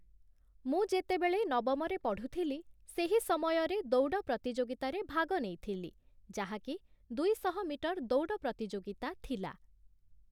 ମୁଁ ଯେତେବେଳେ ନବମରେ ପଢ଼ୁଥିଲି, ସେହି ସମୟରେ ଦୌଡ଼ ପ୍ରତିଯୋଗିତାରେ ଭାଗ ନେଇଥିଲି ଯାହାକି, ଦୁଇଶହ ମିଟର ଦୌଡ଼ ପ୍ରତିଯୋଗିତା ଥିଲା ।